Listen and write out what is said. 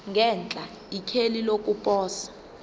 ngenhla ikheli lokuposa